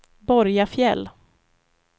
Borgafjäll